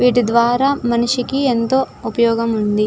వీటి ద్వారా మనిషికి ఎంతో ఉపయోగముంది.